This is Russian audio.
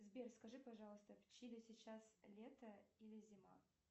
сбер скажи пожалуйста в чили сейчас лето или зима